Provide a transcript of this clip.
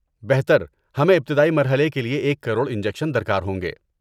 بہتر ہمیں ابتدائی مرحلے کے لیے ایک کروڑ انجیکشن درکار ہوں گے